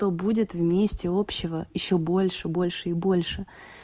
то будет вместе общего ещё больше больше и больше